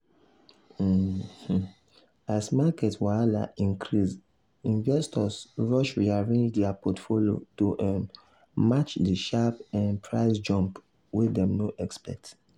um um as market wahala increase investors rush rearrange their portfolio to um match the sharp um price jump wey dem no expect.